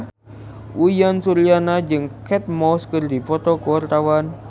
Uyan Suryana jeung Kate Moss keur dipoto ku wartawan